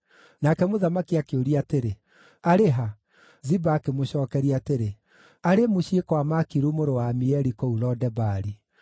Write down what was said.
Nake mũthamaki akĩũria atĩrĩ, “Arĩ ha?” Ziba akĩmũcookeria atĩrĩ, “Arĩ mũciĩ kwa Makiru mũrũ wa Amieli kũu Lo-Debari.”